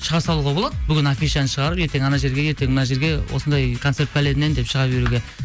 шыға салуға болады бүгін афишаны шығарып ертең ана жерге ертең мына жерге осындай концерт деп шыға беруге